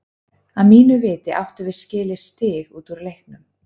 Að mínu viti áttum við skilið stig út úr leiknum.